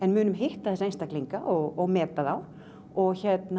munum hitta þessa einstaklinga og meta þá og